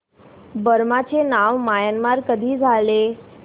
Burma चे नाव Myanmar कधी झाले